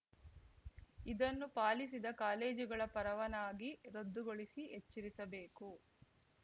ಇದನ್ನು ಪಾಲಿಸಿದ ಕಾಲೇಜುಗಳ ಪರವಾನಗಿ ರದ್ದುಗೊಳಿಸಿ ಎಚ್ಚರಿಸಬೇಕು